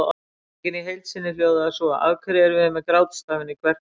Spurningin í heild sinni hljóðaði svo: Af hverju erum við með grátstafinn í kverkunum?